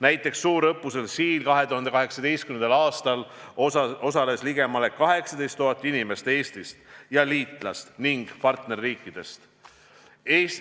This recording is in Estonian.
Näiteks suurõppusel Siil osales 2018. aastal ligemale 18 000 inimest Eestist ja liitlas- ning partnerriikidest.